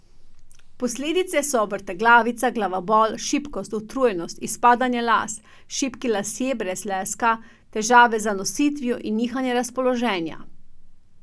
Posledice so vrtoglavica, glavobol, šibkost, utrujenost, izpadanje las, šibki lasje brez leska, težave z zanositvijo in nihanje razpoloženja.